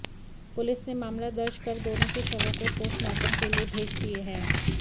police ने मामला दर्ज कर दोनों के शवों को पोस्टमार्टम के लिए भेज दिए हैं